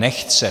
Nechce.